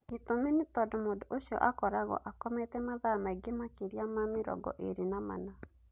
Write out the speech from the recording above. Gĩtũmi nĩ tondũ mũndũ ũcio akoragwo akomete mathaa maingĩ makĩria ma mĩrongo ĩrĩ na mana